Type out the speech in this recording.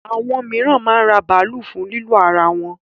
Àwọn míràn máa ń ra bàálù fún lílò ara wọn.